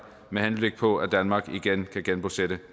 med henblik på at danmark igen kan genbosætte